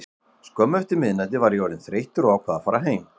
Skömmu eftir miðnætti var ég orðinn þreyttur og ákvað að fara heim.